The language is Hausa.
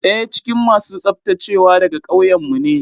Daya cikin masu tsaftacewa daga kauyenmu ne.